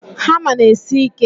Hama n'esi ike